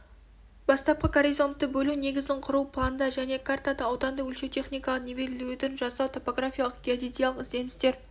бастапқы горизонтты бөлу негізін құру планда және картада ауданды өлшеу техникалық нивелирлеуді жасау топографиялық геодезиялық ізденістер